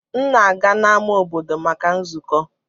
M na-aga n'ámá obodo maka nzukọ.